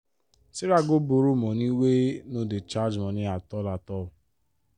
sarah go borrow money wey no dey charge money at-all at-all.